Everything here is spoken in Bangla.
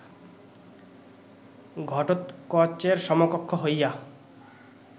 ঘটোৎকচের সমকক্ষ হইয়া